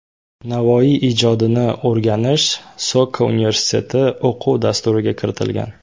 Navoiy ijodini o‘rganish Soka universiteti o‘quv dasturiga kiritilgan.